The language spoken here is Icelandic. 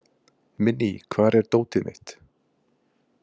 Minný, hvar er dótið mitt?